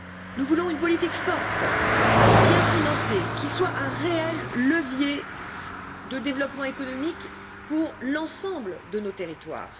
Nous voulons une politique forte, bien financée, qui soit un réel levier de développement économique pour l'ensemble de nos territoires.